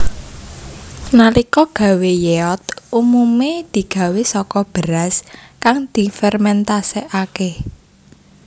Nalika gawé yeot umume digawé saka beras kang difermentasekake